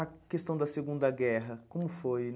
A questão da Segunda Guerra, como foi?